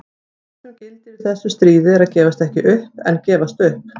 Það sem gildir í þessu stríði er að gefast ekki upp en gefast upp.